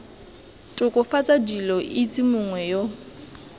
tokafatsa dilo itse mongwe yo